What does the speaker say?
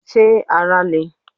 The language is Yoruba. Ṣé ara le?